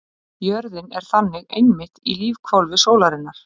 Jörðin er þannig einmitt í lífhvolfi sólarinnar.